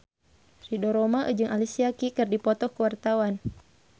Ridho Roma jeung Alicia Keys keur dipoto ku wartawan